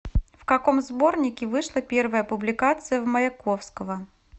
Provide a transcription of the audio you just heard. в каком сборнике вышла первая публикация в маяковского